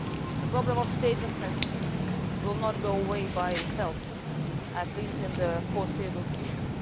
The problem of statelessness will not go away by itself, at least in the foreseeable future.